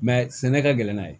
sɛnɛ ka gɛlɛn n'a ye